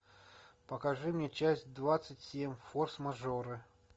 покажи мне часть двадцать семь форс мажоры